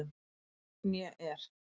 Né er